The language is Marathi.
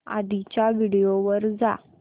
आधीच्या व्हिडिओ वर जा